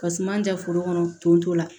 Ka suma man ja foro kɔnɔ tonso la